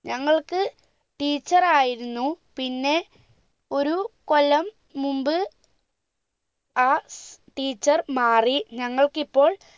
ഞങ്ങൾക്ക് teacher ആയിരുന്നു പിന്നെ ഒരു കൊല്ലം മുമ്പ് ആ teacher മാറി ഞങ്ങൾക്കിപ്പോൾ